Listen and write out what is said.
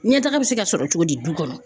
Ɲɛtaga bɛ se ka sɔrɔ cogo di du kɔnɔ?